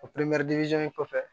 kɔfɛ